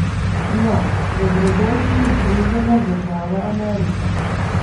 No, dobrodošli v Združene države Amerike!